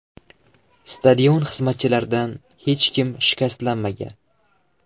Stadion xizmatchilaridan hech kim shikastlanmagan.